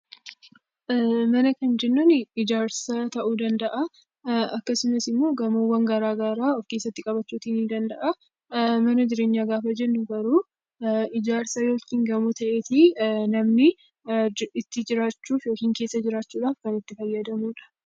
Manaa kan jennuunii ijaarsa ta'uu danda'aa, akkasumas immoo gamoowwan garaa garaa of keessatti qabachuutii nii danda'a. Mana jireenyaa gaafa jennu garuu ijaarsa yookiin gamoo ta'eeti namni itti jiraachuuf yookiin keessa jiraachuudhaaf kan itti fayyadamu dha.